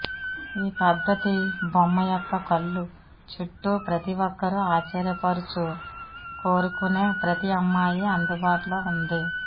ఈ పద్ధతి బొమ్మ యొక్క కళ్ళు చుట్టూ ప్రతి ఒక్కరూ ఆశ్చర్యపరచు కోరుకునే ప్రతి అమ్మాయి అందుబాటులో ఉంది